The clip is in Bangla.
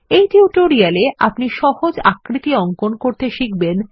এই টিউটোরিয়ালটিতে আপনি সহজ আকৃতি অঙ্কন করতে শিখবেন